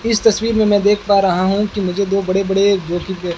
इस तस्वीर में मैं देख पा रहा हूं कि मुझे दो बड़े बड़े दो डिब्बे--